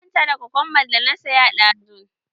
Na manta da gurjin da na saya ɗazun.